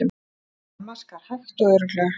Amma skar hægt og örugglega.